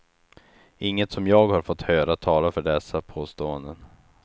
Inget som jag har fått höra talar för dessa påståenden.